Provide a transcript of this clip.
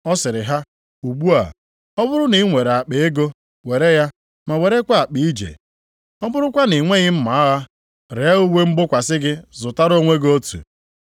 Ọ sịrị ha, “Ugbu a, ọ bụrụ na i nwere akpa ego, were ya, ma werekwa akpa ije. Ọ bụrụkwa na i nweghị mma agha ree uwe mgbokwasị gị zụtara onwe gị otu.